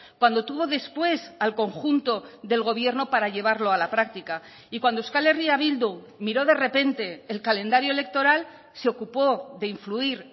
cuando tuvo después al conjunto del gobierno para llevarlo a la práctica y cuando euskal herria bildu miró de repente el calendario electoral se ocupó de influir